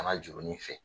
Kana jurunin fɛ